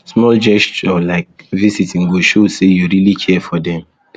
small gesture like visiting go show say you really care for dem